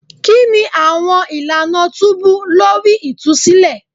Kini awọn ilana tubu lori itusilẹ?